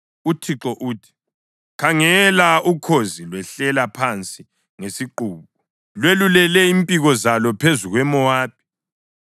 UThixo uthi: “Khangela! Ukhozi lwehlela phansi ngesiqubu, lwelulele impiko zalo phezu kweMowabi.